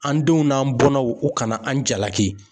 An denw n'an bɔnnaw u kana an jalaki.